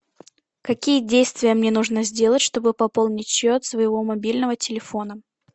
какие действия мне нужно сделать чтобы пополнить счет своего мобильного телефона